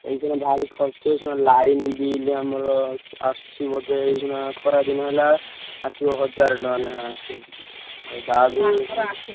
ଏଇଖିନା ଭାରି ଖର୍ଚ line bill ଆମର ଆସୁଚି ବୋଧେ ଏଇଖିଣା ଖରା ଦିନ ହେଲା ଆସିବ ହଜାର ଟଙ୍କା ଲେଖା ଆସିବ। ଆଉ ଯାହାବି ହଉ ।